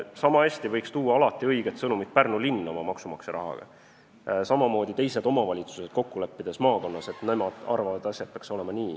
Sama hästi võiks õige sõnumi tooja olla Pärnu linn oma maksumaksja rahaga või teised omavalitsused, kes on maakonnas kokku leppinud, kuidas nende arvates asjad peaksid olema.